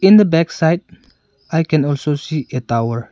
In the backside I can also see a tower.